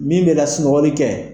Min bɛ lasunɔgɔli kɛ